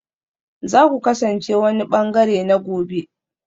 Za ku kasance wani ɓangare na gobe